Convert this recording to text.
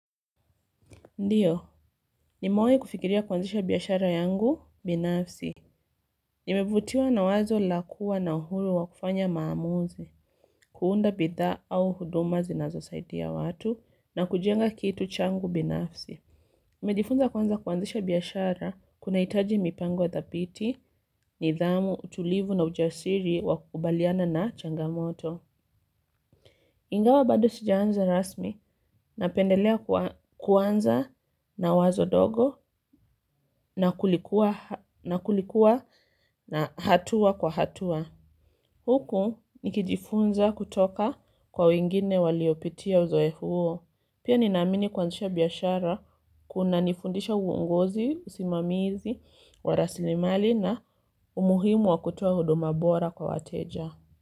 Ndiyo, nimewahi kufikiria kuanzisha biashara yangu binafsi. Nimevutiwa na wazo la kuwa na uhuru wa kufanya maamuzi, kuunda bidhaa au huduma zinazo saidia watu na kujenga kitu changu binafsi. Nimejifunza kwanza kuanzisha biashara kunahitaji mipango wa dhabiti, nidhamu, utulivu na ujasiri wa kukubaliana na changamoto. Ingawa bado sijaanza rasmi napendelea kuanza na wazo dogo na kulikuwa na hatua kwa hatua. Huku nikijifunza kutoka kwa wengine waliyopitia uzoefu huo. Pia nina amini kuanzisha biashara kuna nifundisha uongozi, usimamizi, wa rasilimali na umuhimu wa kutoa huduma bora kwa wateja.